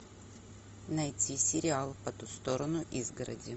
найти сериал по ту сторону изгороди